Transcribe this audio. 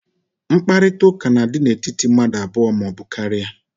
Nkparịta ụka n'adị n'etiti mmadụ abụọ maọbụ karịa